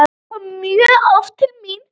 Hann kom mjög oft til mín.